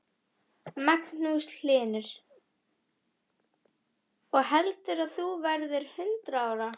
Magnús Hlynur: Og heldur þú að þú verðir hundrað ára?